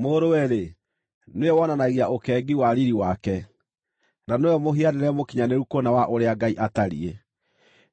Mũrũwe-rĩ, nĩwe wonanagia ũkengi wa riiri wake, na nĩwe mũhianĩre mũkinyanĩru kũna wa ũrĩa Ngai atariĩ,